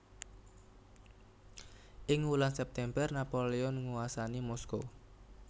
Ing wulan September Napoleon nguwasani Moskow